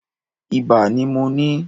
Ibà ni mo ní.